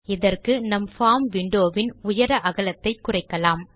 இதற்கு நம் form window வின் உயர அகலத்தை குறைக்கலாம்